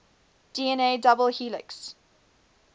dna double helix